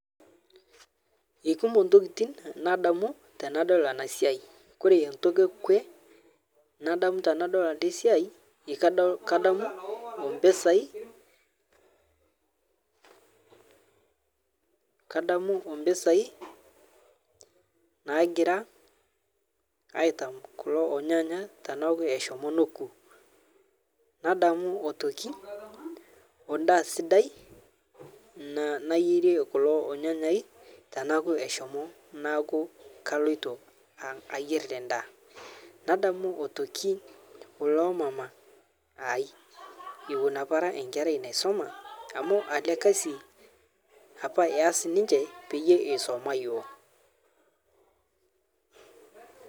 Ekumo ntokiti nadamu tanadol ana siai kore ntoki ekwe nadamu tanadol ale siai kadamu ompesai, kadamu o mpesai naagira aitam kulo onyanya taanaku eshomo noku nadamu otoki ondaa sidai nayerie kulo onyanyai tanaaku eshomo naaku kaloito ayier ndaa nadamu atoki olomama ai owon apa ara nkerai naishoma amu ale (cs kazi cs)apa eaas ninje payie esoma yuoo.